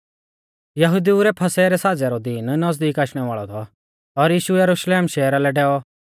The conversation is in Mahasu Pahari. यहुदिऊ रै फसह रै साज़ै रौ दीन नज़दीक आशणै वाल़ौ थौ और यीशु यरुशलेम शहरा लै डैऔ